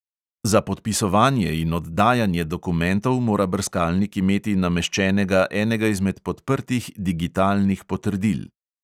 Za podpisovanje in oddajanje dokumentov mora brskalnik imeti nameščenega enega izmed podprtih digitalnih potrdil.